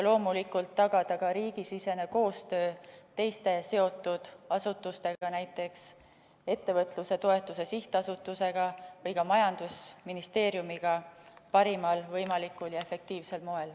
Loomulikult tuleb tagada ka riigisisene koostöö teiste seotud asutustega, näiteks ettevõtluse toetuse sihtasutusega või majandusministeeriumiga parimal võimalikul ja efektiivsel moel.